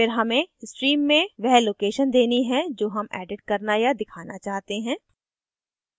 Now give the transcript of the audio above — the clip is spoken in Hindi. फिर हमें stream में वह location देनी है जो हम edit करना या दिखाना चाहते हैं